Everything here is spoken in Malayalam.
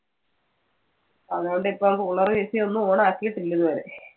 അതുകൊണ്ട് ഇപ്പം cooler, AC ഉം ഒന്നും on ആക്കീട്ടില്ല ഇതുവരെ.